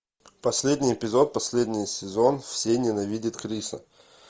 последний эпизод последний сезон все ненавидят криса